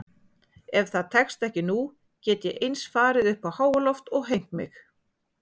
Ef það tekst ekki nú get ég eins farið uppá háaloft og hengt mig.